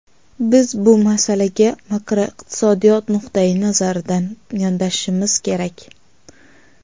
Biz bu masalaga makroiqtisodiyot nuqtai nazaridan yondashishimiz kerak.